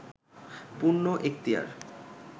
পূর্ণ এক্তিয়ার